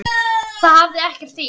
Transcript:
Það hefði ekkert þýtt.